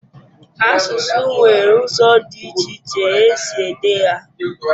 Asụsụ nwere ụzọ dị iche iche e si ede ha.